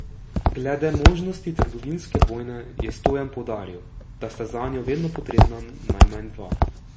Glede možnosti trgovinske vojne je Stojan poudaril, da sta zanjo vedno potrebna najmanj dva.